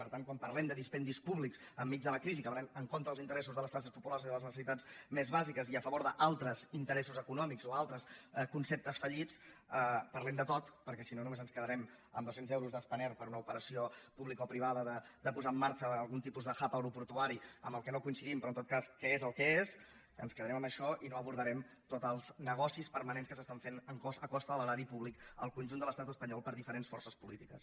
per tant quan parlem de dispendis públics enmig de la crisi que van en contra dels interessos de les classes populars i de les necessitats més bàsiques i a favor d’altres interessos econòmics o altres conceptes fallits parlem de tot perquè si no només ens quedarem amb dos cents milions d’euros de spanair per a una operació publicoprivada de posar en marxa algun tipus de hub aeroportuari amb el qual no coincidim però en tot cas que és el que és ens quedarem amb això i no abordarem tots els negocis permanents que s’estan fent a costa de l’erari públic al conjunt de l’estat espanyol per diferents forces polítiques